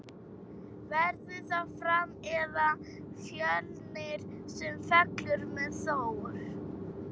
Verður það Fram eða Fjölnir sem fellur með Þór?